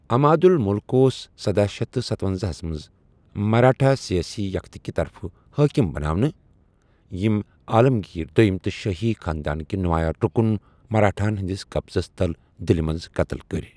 عماد الملک اوس سداہ شیٚتھ تہٕ ستوَنزاہس منز مراٹھا سیٲسی یكتہِ كہِ طرفہٕ حٲكم بناونہٕ، ییٚمۍ عالم گیر دویم تہٕ شٲہی خاندانٕكہِ نُمایاں رُكُن مراٹھاہن ہندِس قبضس تل دِلہِ منز قتل كٔرۍ ۔